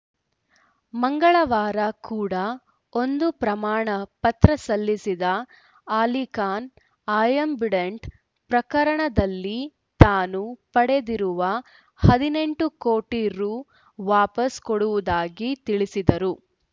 ಮಂಗಳವಾರ ಕೂಡ ಒಂದು ಪ್ರಮಾಣ ಪತ್ರ ಸಲ್ಲಿಸಿದ್ದ ಅಲಿಖಾನ್‌ ಆಯ್ ಆಂಬಿಡೆಂಟ್‌ ಪ್ರಕರಣದಲ್ಲಿ ತಾನು ಪಡೆದಿರುವ ಹದಿನೆಂಟು ಕೋಟಿ ರು ವಾಪಸ್‌ ಕೊಡುವುದಾಗಿ ತಿಳಿಸಿದ್ದರು